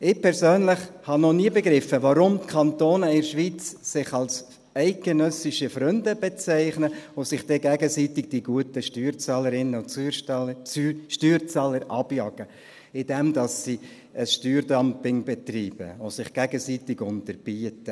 Ich persönlich habe noch nie begriffen, warum sich die Kantone in der Schweiz als eidgenössische Freunde bezeichnen und sich dann gegenseitig die guten Steuerzahlerinnen und Steuerzahler abjagen, indem sie ein Steuerdumping betreiben und sich gegenseitig unterbieten.